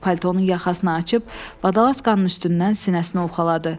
Paltonun yaxasını açıb badalaskannın üstündən sinəsini ovxaladı.